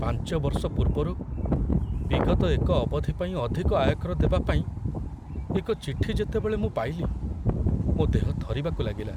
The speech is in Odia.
ପାଞ୍ଚ ବର୍ଷ ପୂର୍ବରୁ ବିଗତ ଏକ ଅବଧି ପାଇଁ ଅଧିକ ଆୟକର ଦେବା ପାଇଁ ଏକ ଚିଠି ଯେତେବେଳେ ମୁଁ ପାଇଲି, ମୋ ଦେହ ଥରିବାକୁ ଲାଗିଲା।